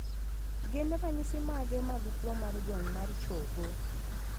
Gin ranyisi mage mag tuo mar jony mar chogo?